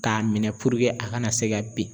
Ka minɛ a kana se ka bin.